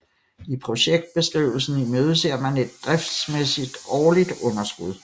I projektbeskrivelsen imødeser man et driftsmæssigt årligt underskud